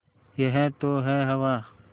यह तो है हवा